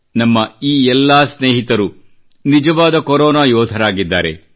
ನಮ್ಮ ಈ ಎಲ್ಲ ಸ್ನೇಹಿತರು ನಿಜವಾದ ಕೊರೋನಾ ಯೋಧರಾಗಿದ್ದಾರೆ